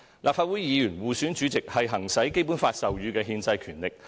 立法會議員互選主席是行使《基本法》授予的憲制權力。